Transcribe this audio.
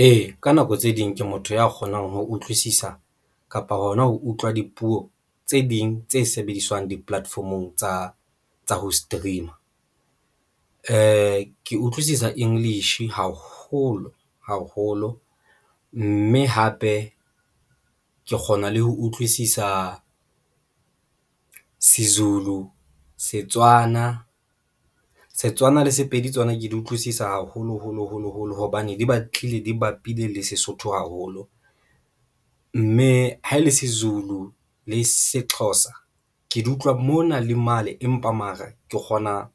Ee, ka nako tse ding ke motho ya kgonang ho utlwisisa kapa hona ho utlwa dipuo tse ding tse sebediswang di-platform-ong tsa tsa ho stream-a ke utlwisisa English haholo haholo mme hape ke kgona le ho utlwisisa Sezulu, Setswana, Setswana le Sepedi tsona ke di utlwisisa haholo holo holo holo, hobane di batlile di bapile le Sesotho haholo mme ha e le seZulu le SeXhosa ke di utlwa mona le mane empa mare ke kgona